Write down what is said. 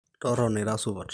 totona ira supat